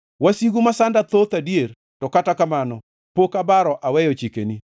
Wasigu masanda thoth adier, to kata kamano pok abaro aweyo chikeni.